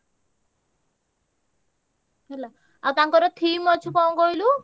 Theme ଅଛି କଣ କହିଲୁ?